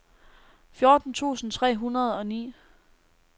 fjorten tusind tre hundrede og ni